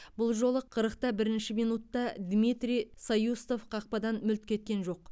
бұл жолы қырықта бірінші минутта дмитрий саюстов қақпадан мүлт кеткен жоқ